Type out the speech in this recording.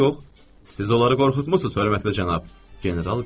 Siz onları qorxutmusuz, hörmətli cənab, general qışqırdı.